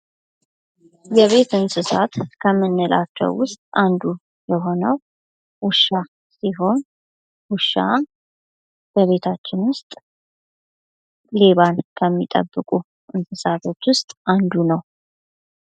የቤት እንሣት ከምንላቸው ዉሥጥ አንዱ የሆነው ዉሻ ሲሆን ዉሻ ከቤታችን ዉስጥ ሌባን ከሚጠብቁ እንሣሳቶች ዉስጥ አንዱ ነው።